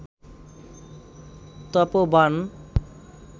তপ বাণ